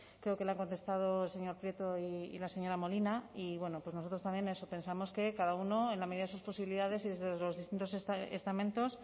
creo que le ha contestado el señor prieto y la señora molina y nosotros también pensamos que cada uno en la medida de sus posibilidades y desde los distintos estamentos